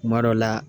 Kuma dɔ la